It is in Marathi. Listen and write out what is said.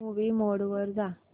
मूवी मोड वर जा